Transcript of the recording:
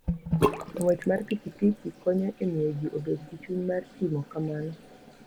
Ng'wech mar pikipiki konyo e miyo ji obed gi chuny mar timo kamano.